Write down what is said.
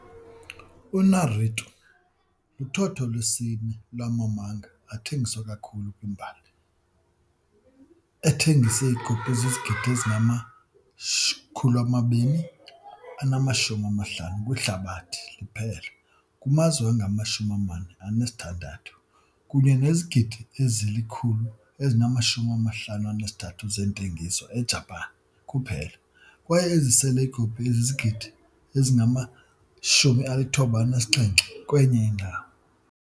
UNaruto luthotho lwesine lwamamanga athengiswa kakhulu kwimbali, ethengise iikopi ezizizigidi ezingama-250 kwihlabathi liphela kumazwe angama-46, kunye nezigidi ezili-153 zentengiso eJapan kuphela kwaye ezisele ikopi ezizigidi ezingama-97 kwenye indawo.